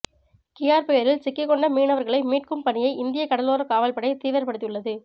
Kyarr புயலில் சிக்கிக் கொண்ட மீனவர்களை மீட்கும் பணியை இந்திய கடலோரக் காவல் படை தீவிரப்படுத்தியுள்ளது